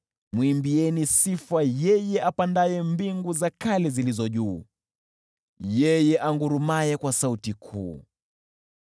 mwimbieni sifa yeye apandaye mbingu za kale zilizo juu, yeye angurumaye kwa sauti kuu.